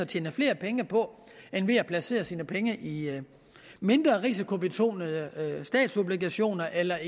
tjene flere penge på end ved at placere sine penge i mindre risikobetonede statsobligationer eller